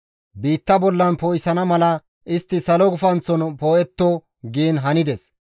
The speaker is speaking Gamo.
biitta bollan poo7isana mala istti salo gufanththon poo7etto» giin hanides.